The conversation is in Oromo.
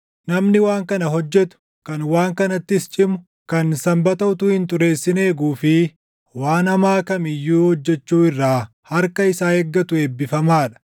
Namni waan kana hojjetu, kan waan kanattis cimu, kan Sanbata utuu hin xureessin // eeguu fi waan hamaa kam iyyuu hojjechuu irraa harka isaa eeggatu eebbifamaa dha.”